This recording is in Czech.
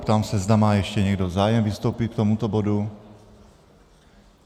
Ptám se, zda má ještě někdo zájem vystoupit k tomuto bodu.